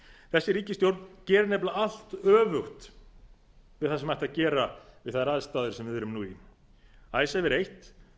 þessi ríkisstjórn gerir nefnilega allt öfugt við það sem ætti að gera við þær aðstæður sem við erum nú í icesave er eitt